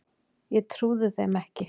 Ég trúði þeim ekki.